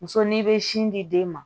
Muso n'i bɛ sin di den ma